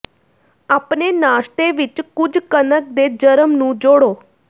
ਆਪਣੇ ਨਾਸ਼ਤੇ ਵਿਚ ਕੁਝ ਕਣਕ ਦੇ ਜਰਮ ਨੂੰ ਜੋੜੋ